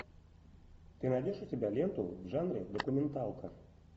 ты найдешь у себя ленту в жанре документалка